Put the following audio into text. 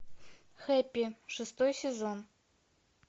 хэппи шестой сезон